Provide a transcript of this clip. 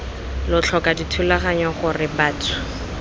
lo tlhoka dithulaganyo gore batho